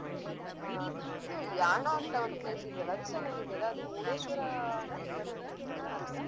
ಹಾ ಇದು ಯಾಣ ಅಂತ ಒಂದು place ಇದೆಲ್ಲಾ ಅದುಸಾ ನಂಗೆ ಎಲ್ಲಾದ್ರು ಮುರ್ಡೇಶ್ವರಾನ ಬರ್ತದ ಅನಿಸ್ತಿದೆ ಹತ್ರ.